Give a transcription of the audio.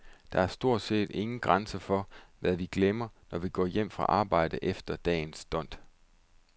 Der er stort set ingen grænser for, hvad vi glemmer, når vi går hjem fra arbejde efter dagens dont.